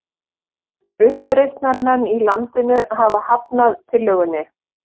Uppreisnarmenn í landinu hafa hafnað tillögunni